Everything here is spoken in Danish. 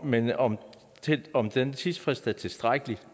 men om om den tidsfrist er tilstrækkelig